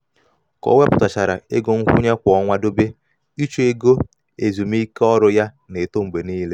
ka o wepụtachara ego nkwụnye kwa ọnwa dobe um iche ego ezumiike ezumiike ọrụ ya um na-eto mgbe niile.